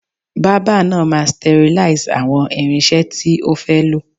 Bábà náà máa sterlize àwọn irinṣẹ́ tí ó fẹ́ lò.